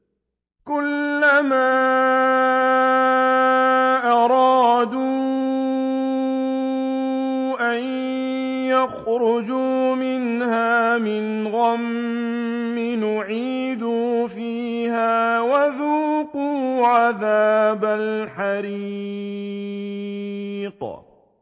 كُلَّمَا أَرَادُوا أَن يَخْرُجُوا مِنْهَا مِنْ غَمٍّ أُعِيدُوا فِيهَا وَذُوقُوا عَذَابَ الْحَرِيقِ